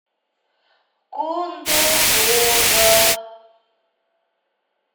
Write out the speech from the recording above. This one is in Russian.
кондопога